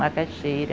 Macaxeira.